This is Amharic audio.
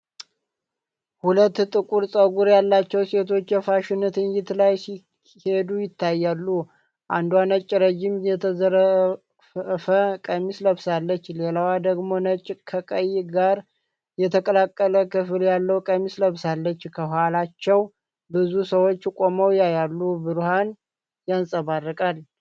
ሁለት ጥቁር ፀጉር ያላቸዉ ሴቶች የፋሽን ትዕይንት ላይ ሲሄዱ ይታያሉ። አንዷ ነጭ ረዥም የተንዘረፈፈ ቀሚስ ለብሳለች፣ ሌላዋ ደግሞ ነጭ ከቀይ ጋር የተቀላቀለ ክፍል ያለዉ ቀሚስ ለብሳለች። ከኋላቸው ብዙ ሰዎች ቆመው ያያሉ፣ ብርሃን ይንፀባረቃል።